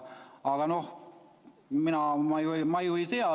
Aga noh, mina ju ei tea.